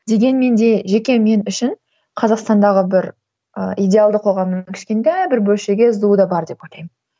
дегенмен де жеке мен үшін қазақстандағы бір ы идеалды қоғамның кішкентай бір бөлшегі сду да бар деп ойлаймын